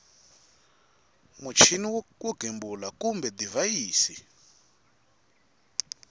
muchini wo gembula kumbe divhayisi